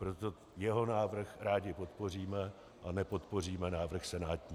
Proto jeho návrh rádi podpoříme a nepodpoříme návrh senátní.